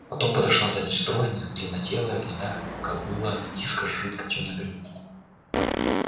потом подошла сзади стройная длиннотелая гнедая кобыла-метиска с жидкой тёмной гривой